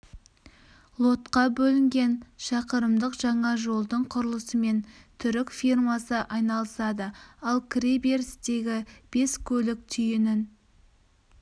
лотқа бөлінген шақырымдық жаңа жолдың құрылысымен түрік фирмасы айналысады ал кіре берістегі бес көлік түйінін